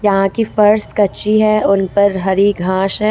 यहां की फर्श कच्ची है उनपर हरी घास है ।